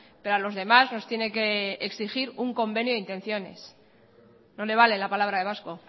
pero a los demás nos tiene que exigir un convenio de intenciones no le vale la palabra de vasco